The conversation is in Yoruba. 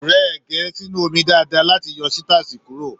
Rẹ ẹgẹ sínú omi dáadáa láti yọ sitasi kuro!